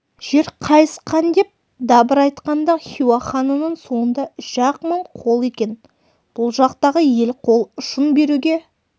жер қайысқандеп дабырайтқанда хиуа ханының соңында үш-ақ мың қол екен бұл жақтағы ел қол ұшын беруге